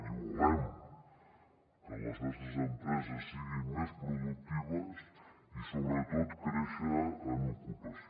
i volem que les nostres empreses siguin més productives i sobretot créixer en ocupació